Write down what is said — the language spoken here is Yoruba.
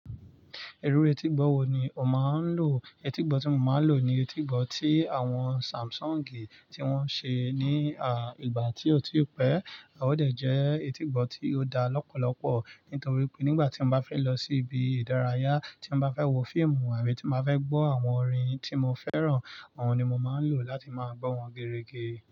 Irú etígbọ̀ wo ni o máa ń lò? Etígbọ̀ tí mo máa ń lò ni etígbọ̀ tí àwọn Samsung tí wọ́n ṣe, ní ìgbà tí ó ti pẹ́, ó dẹ̀ jẹ́ etígbọ̀ tí ó da lọ́pọ̀lọ́pọ̀ nítorí pé nígbà tí mo bá fẹ́ lọ sí ibi ìdárayá, tí mo bá fẹ́ wo fíìmù àbí tí màá fẹ́ gbọ́ àwọn orin tí mo fẹ́ràn, òun ni mo máa ń lò láti máa gbọ́ wọn gerége.